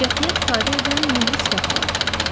Qətiyyət ifadə edən yumru sifəti vardı.